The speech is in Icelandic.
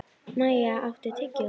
Maj, áttu tyggjó?